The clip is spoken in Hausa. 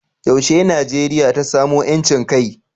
yaushe Najeriya ta samu 'yancin kai?